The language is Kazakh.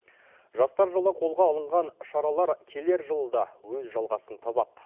жастар жылы қолға алынған шаралар келер жылы да өз жалғасын табады